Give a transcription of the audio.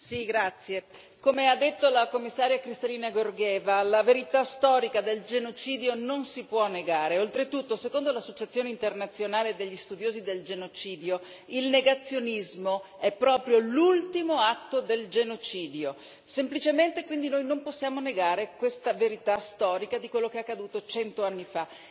Signor Presidente, onorevoli colleghi, come ha detto la Commissaria Kristalina Georgieva la verità storica del genocidio non si può negare. Oltretutto, secondo l'Associazione internazionale degli studiosi del genocidio, il negazionismo è proprio l'ultimo atto del genocidio. Semplicemente quindi noi non possiamo negare questa verità storica di quello che è accaduto 100 anni fa.